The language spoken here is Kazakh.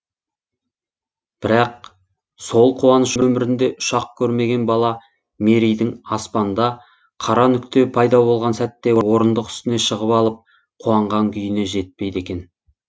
бірақ сол қуаныш өмірінде ұшақ көрмеген бала мерейдің аспанда қара нүкте пайда болған сәтте орындық үстіне шығып алып қуанған күйіне жетпейді екен